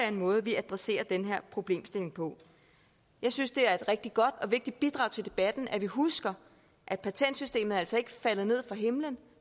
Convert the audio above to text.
en måde vi adresserer den her problemstilling på jeg synes det er et rigtig godt og vigtigt bidrag til debatten at vi husker at patentsystemet altså ikke er faldet ned fra himlen